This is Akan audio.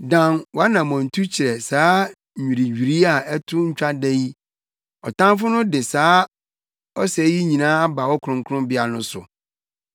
Dan wʼanammɔntu kyerɛ saa nnwiriwii a ɛto ntwa da yi, ɔtamfo no de saa ɔsɛe yi nyinaa aba wo kronkronbea no so.